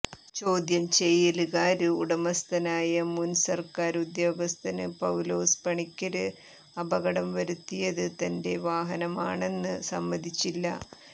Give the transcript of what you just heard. ചോദ്യം ചെയ്യലില് കാര് ഉടമസ്ഥനായ മുന് സര്ക്കാര് ഉദ്യോഗസ്ഥന് പൌലോസ് പണിക്കര് അപകടം വരുത്തിയത് തന്റെ വാഹനമാണെന്ന് സമ്മതിച്ചില്ല